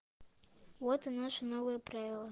вот и наши новые правила